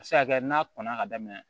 A bɛ se ka kɛ n'a kɔnna ka daminɛ